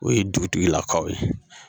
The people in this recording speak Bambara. O ye dugutigilakaw ye.